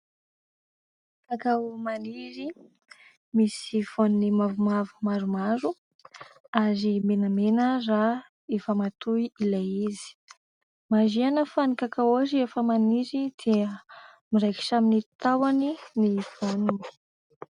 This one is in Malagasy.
Kakao maniry misy voany mavomavo maromaro ary menamena raha efa matoy ilay izy, marihana fa ny kakao rehefa maniry dia miraikitra amin'ny tahony ny voany.